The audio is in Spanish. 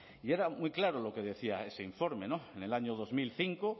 y era muy claro lo que decía ese informe en el año dos mil cinco